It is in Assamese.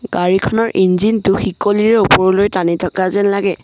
গাড়ীখনৰ ইঞ্জিন টো শিকলিৰে ওপৰলৈ টানি থকা যেন লাগে।